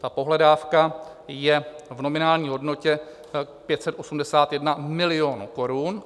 Ta pohledávka je v nominální hodnotě 581 milionů korun.